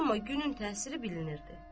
Amma günün təsiri bilinirdi.